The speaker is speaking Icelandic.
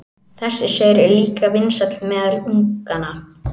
Þessi saur er líka vinsæll meðal unganna.